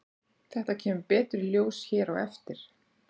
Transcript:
þetta kemur betur í ljós hér á eftir